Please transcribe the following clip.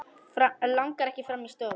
Langar ekki fram í stofu.